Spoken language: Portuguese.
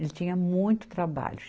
Ele tinha muito trabalho.